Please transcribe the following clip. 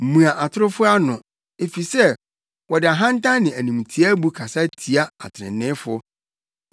Mua atorofo ano, efisɛ wɔde ahantan ne animtiaabu kasa tia atreneefo.